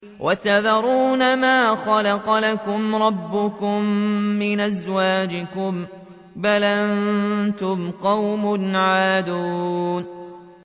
وَتَذَرُونَ مَا خَلَقَ لَكُمْ رَبُّكُم مِّنْ أَزْوَاجِكُم ۚ بَلْ أَنتُمْ قَوْمٌ عَادُونَ